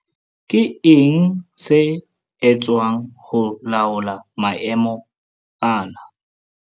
Ke eng se etswang ho laola maemo ana?